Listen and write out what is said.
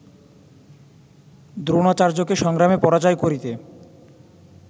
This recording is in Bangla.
দ্রোণাচার্যকে সংগ্রামে পরাজয় করিতে